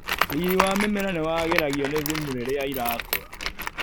Riri wa mĩmera niwagĩragio nĩthumu riria ĩrakũra.